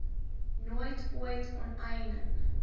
nooit ooit onteiening